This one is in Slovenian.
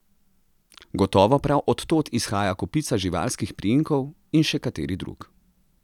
Gotovo prav odtod izhaja kopica živalskih priimkov in še kateri drug.